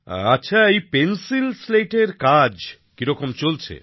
আচ্ছা এই pencil slate এর কাজ কিরকম চলছে